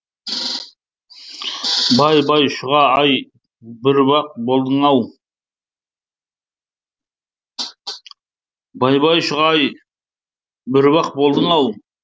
бай бай шұға ай бүріп ақ болдың ау